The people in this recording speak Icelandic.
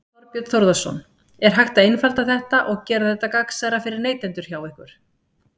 Þorbjörn Þórðarson: Er hægt að einfalda þetta og gera þetta gagnsærra fyrir neytendur hjá ykkur?